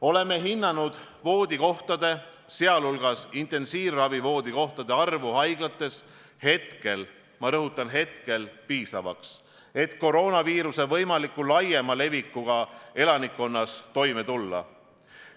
Oleme hinnanud voodikohtade, sh intensiivravi voodikohtade arvu haiglates hetkel – ma rõhutan: hetkel – piisavaks, et koroonaviiruse võimaliku laiema levikuga elanikkonna hulgas toime tulla.